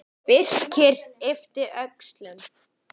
Birkir yppti öxlum.